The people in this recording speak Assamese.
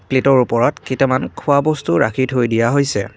প্লেটৰ ওপৰত কেইটামান খোৱা বস্তু ৰাখি থৈ দিয়া হৈছে।